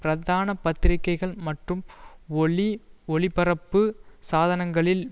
பிரதான பத்திரிகைகள் மற்றும் ஒளி ஒலிபரப்பு சாதனங்களில்